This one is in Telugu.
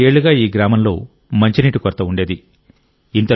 చాలా ఏళ్లుగా ఈ గ్రామంలో మంచినీటి కొరత ఉండేది